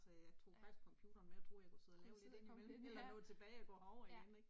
Så jeg tog faktisk computeren med og troede jeg kunne sidde og lave lidt ind imellem og nå tilbage og gå herover igen, ikk